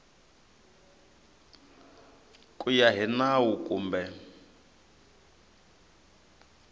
ku ya hi nawu kumbe